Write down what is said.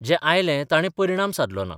जें आयलें ताणे परिणाम सादलो ना.